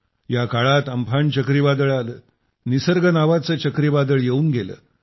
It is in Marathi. या काळात अम्फान चक्रीवादळ आलं निसर्ग नावाचं चक्रीवादळ येवून गेलं